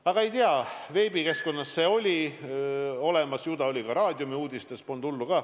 Aga veebikeskkonnas see oli olemas ja oli ka raadiouudistes – polnud hullu.